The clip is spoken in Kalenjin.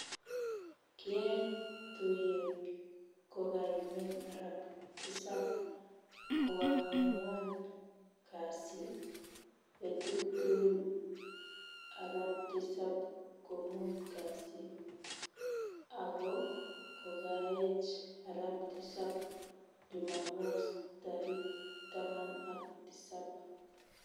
Kiyae tuiyet kokaimen arap tisap koangwan kasi, betut tugul arap tisap komut kasi, ako kogaech arap tisap jumamos tarik taman ak tisap